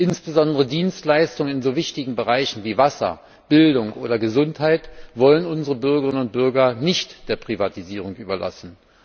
Insbesondere Dienstleistungen in so wichtigen Bereichen wie Wasser, Bildung oder Gesundheit wollen unsere Bürgerinnern und Bürger nicht der Privatisierung überlassen.